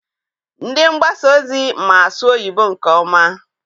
Ndị mgbasa ozi ma-asụ oyibo nke ọma.